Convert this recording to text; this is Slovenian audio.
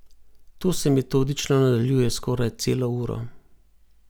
To se metodično nadaljuje skoraj celo uro.